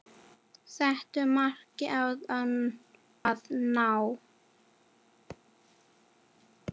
Settu marki átti að ná.